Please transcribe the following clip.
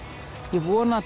ég vona að